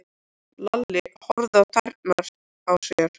Lalli horfði á tærnar á sér.